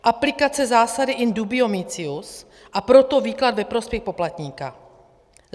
Aplikace zásady in dubio mitius, a proto výklad ve prospěch poplatníka.